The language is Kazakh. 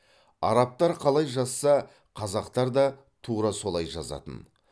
арабтар қалай жазса қазақтар да тура солай жазатын